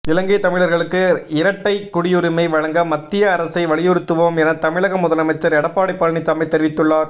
இலங்கை தமிழர்களுக்கு இரட்டை குடியுரிமை வழங்க மத்திய அரசை வலியுறுத்துவோம் என தமிழக முதலமைச்சர் எடப்பாடி பழனிசாமி தெரிவித்துள்ளார்